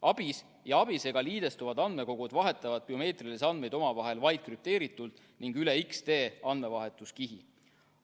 ABIS ja ABIS-ega liidestuvad andmekogud vahetavad biomeetrilisi andmeid omavahel vaid krüpteeritult ning üle X-tee andmevahetuskihi.